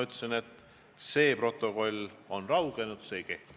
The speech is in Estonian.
Kristen Michal, palun!